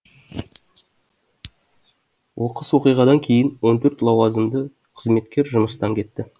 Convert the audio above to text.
оқыс оқиғадан кейін он төрт лауазымды қызметкер жұмыстан кетті